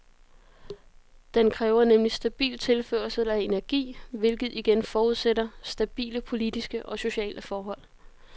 Den kræver nemlig stabil tilførsel af energi, hvilket igen forudsætter stabile politiske og sociale forhold.